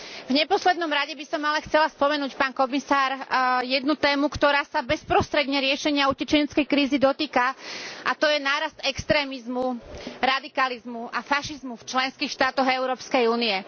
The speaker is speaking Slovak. V neposlednom rade by som ale chcela spomenúť, pán komisár, jednu tému, ktorá sa bezprostredne riešenia utečeneckej krízy dotýka, a to je nárast extrémizmu, radikalizmu a fašizmu v členských štátoch Európskej únie.